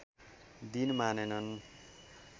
दिन मानेनन्